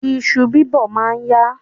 Iṣu bíbọ̀ ma ń yá.